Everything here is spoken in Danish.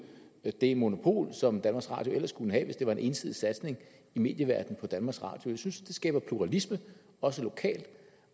det monopol som danmarks radio ellers kunne have hvis det var en ensidig satsning i medieverdenen på danmarks radio jeg synes at det skaber pluralisme også lokalt